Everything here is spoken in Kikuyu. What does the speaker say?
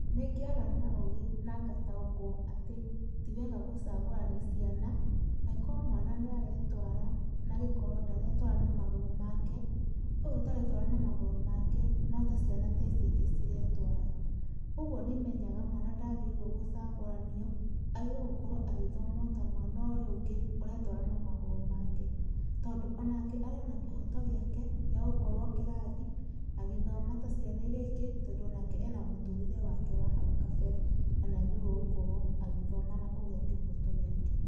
Nĩngĩaga na ũũgĩ na ngataũkwo atĩ ti wega gũcagũrani ciana, angĩkorwo mwana nĩ aretwara, na angĩkorwo ndaretwara na magũrũ make, ũyũ ũtaretwara na magũrũ make no ta ciana ici ingĩ ciretwara. Ũguo nĩ menyaga mwana ndagĩrĩirwo gũcagũranio, agĩrĩirwo gũkorwo agĩthoma o ta mwana ũyũ ũngũ ũretwara na magũrũ make. Tondũ onake arĩ ona kĩhoto gĩake, gĩa gũkorwo kĩrathi agĩthoma ta ciana irĩa ingĩ, tondũ onake ena mũtũrĩre wake wa ha kabere na nĩ agĩrĩirwo gũkorwo agĩthoma na kũgĩa kĩhoto gĩake.